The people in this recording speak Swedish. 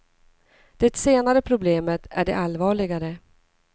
Det senare problemet är det allvarligare.